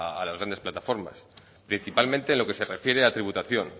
a las grandes plataformas principalmente en lo que se refiere a tributación